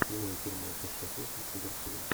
прямой эфир матча шеффилд с ливерпулем